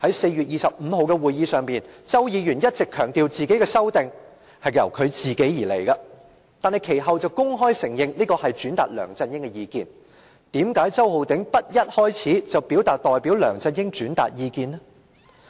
在4月25日的會議上，周議員一直強調修訂是由他本人作出，但其後卻公開承認是轉達梁振英的意見，為甚麼周浩鼎議員不一開始便表示代梁振英轉達意見？